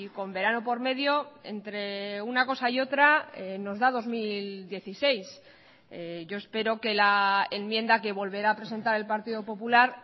con verano por medio entre una cosa y otra nos da dos mil dieciséis yo espero que la enmienda que volverá a presentar el partido popular